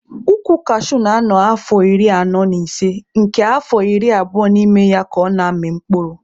Ukwu kashuu na-anọ afọ iri anọ na ise nke afọ iri abụo n'ime ya ka ọ na-amị mkpụrụ.